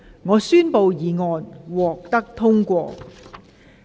我宣布議案獲得通過。